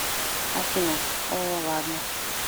афина о ладно